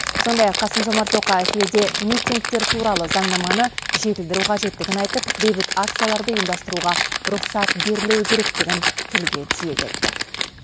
сондай ақ қасым жомарт тоқаев елде митингтер туралы заңнаманы жетілдіру қажеттігін айтып бейбіт акцияларды ұйымдастыруға рұқсат берілуі керектігін тілге тиек етті